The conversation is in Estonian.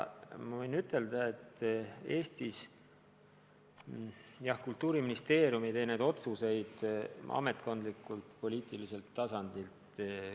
Võin ka ütelda, et Eestis ei tee kõiki neid otsuseid Kultuuriministeerium ametkondlikul poliitilisel tasandil.